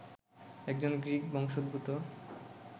একজন গ্রিক বংশোদ্ভূত